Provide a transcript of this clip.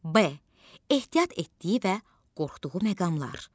B ehtiyat etdiyi və qorxduğu məqamlar.